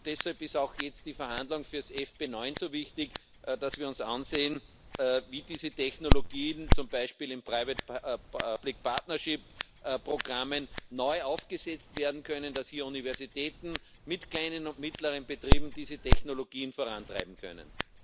Und deshalb sind auch jetzt die Verhandlungen für das FP9 so wichtig, bei denen wir uns ansehen müssen, wie diese Technologien zum Beispiel in Private Public Partnership Programmen neu aufgesetzt werden können und wie Universitäten mit kleinen und mittleren Betrieben diese Technologien vorantreiben können.